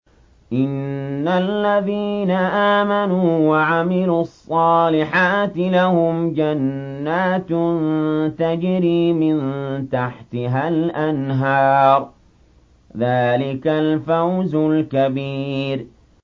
إِنَّ الَّذِينَ آمَنُوا وَعَمِلُوا الصَّالِحَاتِ لَهُمْ جَنَّاتٌ تَجْرِي مِن تَحْتِهَا الْأَنْهَارُ ۚ ذَٰلِكَ الْفَوْزُ الْكَبِيرُ